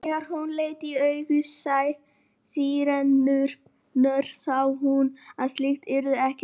En þegar hún leit í augu Særúnar sá hún að slíkt yrði ekki til neins.